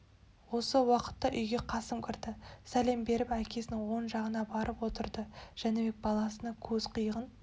осы уақытта үйге қасым кірді сәлем беріп әкесінің оң жағына барып отырды жәнібек баласына көз қиығын